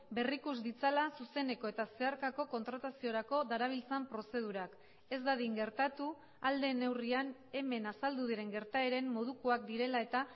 berrikus ditzala zuzeneko eta zeharkako kontrataziorako darabiltzan prozedurak ez dadin gertatu ahal den neurrian hemen azaldu diren gertaeren modukoak direla eta